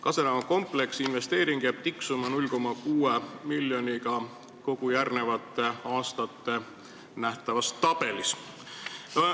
Kase tänava kompleksi investeering 0,6 miljonit jääb tiksuma kogu selles järgmiste aastate tabelis.